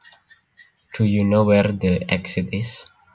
Do you know where the exit is